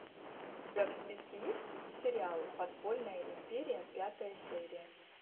у тебя в списке есть сериал подпольная империя пятая серия